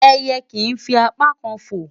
Ẹyẹ kìí fi apá kan fò.